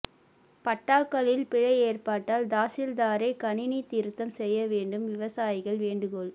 பட்டாக்களில் பிழை ஏற்பட்டால் தாசில்தாரே கணினி திருத்தம் செய்ய வேண்டும் விவசாயிகள் வேண்டுகோள்